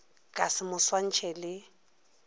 ka se mo swantšhe le